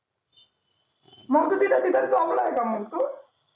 मग तं तिथं तिथं च job ला आहे का मग तू